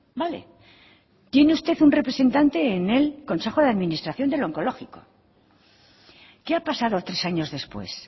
vale tiene usted un representante en el consejo de administración del onkologiko qué ha pasado tres años después